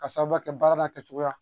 Ka sababu kɛ baara n'a kɛcogoya ye